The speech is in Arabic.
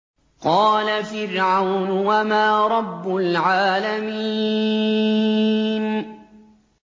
قَالَ فِرْعَوْنُ وَمَا رَبُّ الْعَالَمِينَ